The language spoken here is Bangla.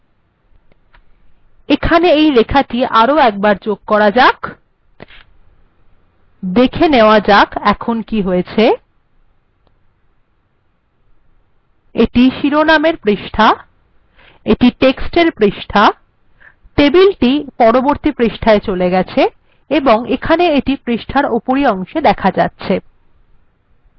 এখানে এই লেখাটি আরো একবার যোগ করা যাক তাহলে এখন দেখা যাচ্ছে এটি হল শিরোনামের পৃষ্ঠা এটি টেক্সট্ এর পৃষ্ঠা টেবিলটি পরবর্তী পৃষ্ঠায় চলে গেছে এবং এটি পৃষ্ঠার উপরের অংশে দেখা যাচ্ছে